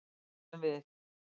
Það erum við.